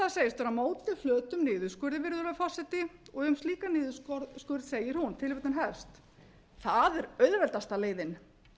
vera á móti flötum niðurskurði virðulegi forseti og um slíkan niðurskurð segir hún það er auðveldasta leiðin